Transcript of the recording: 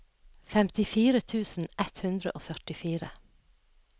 femtifire tusen ett hundre og førtifire